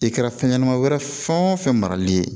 I kɛra fɛn ɲɛnama wɛrɛ fɛn o fɛn marali ye